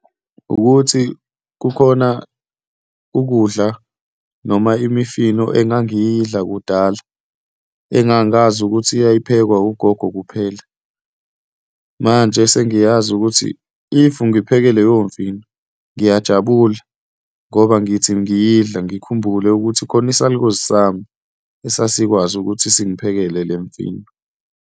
Wukuthi kukhona ukudla noma imifino engangiyidla kudala engangazi ukuthi yayiphekwa ugogo kuphela. Manje sengiyazi ukuthi if ngipheke leyo mfino ngiyajabula ngoba ngithi ngiyidla, ngikhumbule ukuthi khona isalukwazi sami esasikwazi ukuthi singiphekele le mfino.